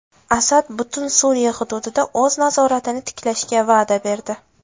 Asad butun Suriya hududida o‘z nazoratini tiklashga va’da berdi.